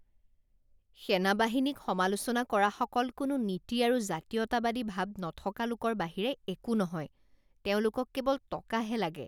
সেনাবাহিনীক সমালোচনা কৰাসকল কোনো নীতি আৰু জাতীয়তাবাদী ভাৱ নথকা লোকৰ বাহিৰে একো নহয়। তেওঁলোকক কেৱল টকাহে লাগে